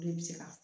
O de bɛ se ka